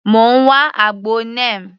Mò ń wá àgbo Neem.